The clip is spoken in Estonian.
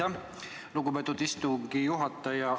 Aitäh, lugupeetud istungi juhataja!